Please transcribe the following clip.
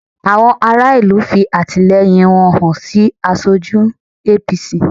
Àwọn ará ìlú fi àtìlẹyìn wọn hàn sí aṣojú APC